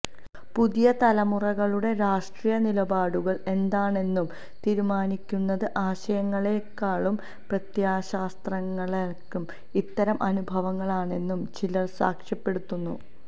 പുതിയ തലമുറകളുടെ രാഷ്ട്രീയ നിലപാടുകള് എന്താണെന്നു തീരുമാനിക്കുന്നത് ആശയങ്ങളേക്കാളും പ്രത്യയശാസ്ത്രങ്ങളേക്കാളും ഇത്തരം അനുഭവങ്ങളാണെന്നും ചിലര് സാക്ഷ്യപ്പെടുത്തുന്നു